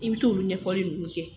I bi t'olu ɲɛfɔli nunnu kɛ